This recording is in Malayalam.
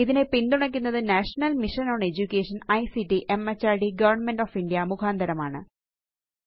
ഇതിനെ പിന്തുണയ്ക്കുന്നത് national mission on education ICT MHRD government of India മുഖാന്തരമാണ്